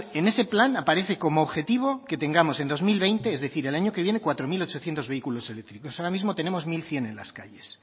en ese plan aparece como objetivo que tengamos en dos mil veinte es decir el año que viene cuatro mil ochocientos vehículos eléctricos ahora mismo tenemos mil cien en las calles